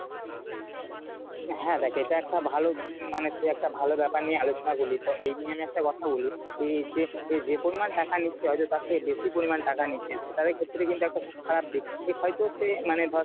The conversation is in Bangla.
হ্যাঁ দেখ এটা একটা ভালো উম মানে তুই একটা ভালো ব্যাপার নিয়ে আলোচনা করলি। তো এই নিয়ে আমি একটা কথা বলি এই যে এই যে পরিমান টাকা নিচ্ছে হয়তো তার থেকে বেশি পরিমান টাকা নিচ্ছিস সেটার ক্ষেত্রে কিন্তু একটা খুব খারাপ দিক হয়তো সে মানে ধর